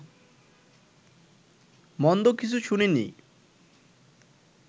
মন্দ কিছু শুনিনি